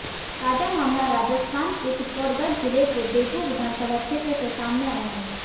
ताजा मामला राजस्थान के चित्तौड़गढ़ जिले के बेगू विधानसभा क्षेत्र से सामने आया है